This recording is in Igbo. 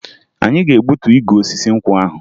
Anyị ga-egbuta igu n'osisi nkwụ ahụ